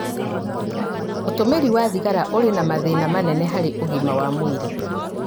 ũtũmĩri wa thigara ũrĩ na mathĩna manene harĩ ũgima wa mwĩrĩ.